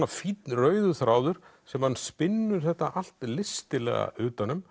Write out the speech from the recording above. fínn rauður þráður sem hann spinnur þetta allt listilega utan um